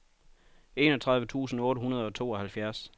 enogtredive tusind otte hundrede og tooghalvfjerds